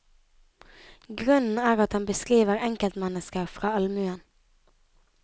Grunnen er at han beskriver enkeltmennesker fra allmuen.